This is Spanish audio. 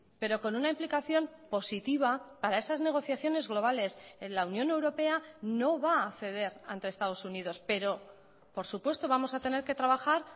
pero con una implicación positiva para esas negociaciones globales en la unión europea no va a ceder ante estados unidos pero por supuesto vamos a tener que trabajar